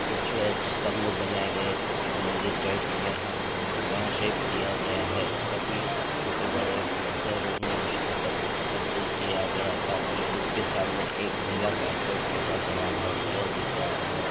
कुछ स्तंभ बनाये गए है कुछ मंदिर टाइप यहाँ वहाँ शेप दिया गया है सभी छोटे बड़े पत्थरों में उसको तब तब्दील किया गया है साथ ही उसके सामने एक नीला कारपेट रखा गया है यह दिख रहा है धन्यवाद।